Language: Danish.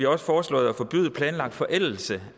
også foreslået at forbyde planlagt forældelse